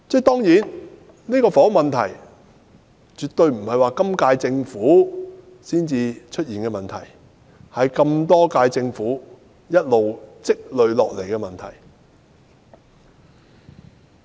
當然，房屋問題絕非在今屆政府任期內才出現，而是多屆政府一直累積下來的問題。